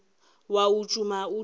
wa o tšhuma o dirile